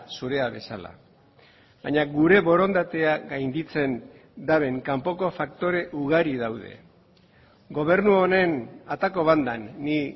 zurea bezala baina gure borondatea gainditzen duten kanpoko faktore ugari daude gobernu honen atako bandan ni